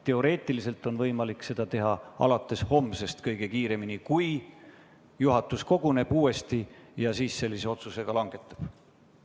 Teoreetiliselt on võimalik seda teha alates homsest, mitte varem, juhul kui juhatus uuesti koguneb ja sellise otsuse langetab.